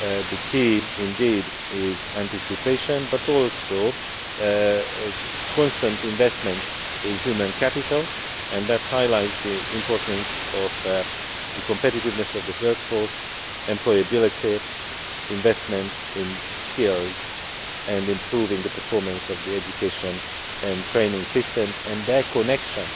The key indeed is anticipation, but also constant investment in human capital that highlights the importance of the competitiveness of the workforce, employability, investment in skills and improving the performance of the education and training systems and their connection